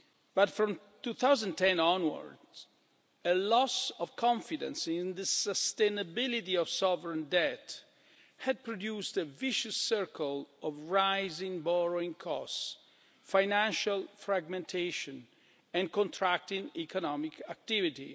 But, from 2010 onwards, a loss of confidence in the sustainability of sovereign debt had produced a vicious circle of rising borrowing costs, financial fragmentation, and contracting economic activity.